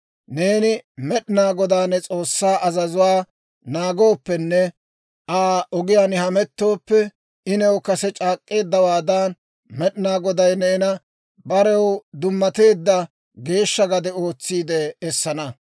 «Neeni Med'inaa Godaa ne S'oossaa azazuwaa naagooppenne Aa ogiyaan hamettooppe, I new kase c'aak'k'eeddawaadan, Med'inaa Goday neena barew dummateedda geeshsha gade ootsiide essana.